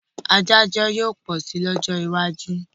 Adájọ́ yóò pọ̀ si ní ọjọ́ iwájú